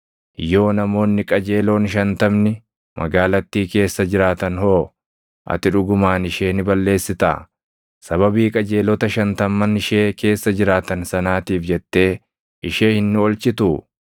Yoo namoonni qajeeloon shantamni magaalattii keessa jiraatan hoo? Ati dhugumaan ishee ni balleessitaa? Sababii qajeelota shantamman ishee keessa jiraatan sanaatiif jettee ishee hin oolchituu?